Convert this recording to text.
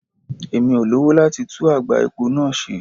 Mi ò lowo láti tú àgbá epo náà ṣe.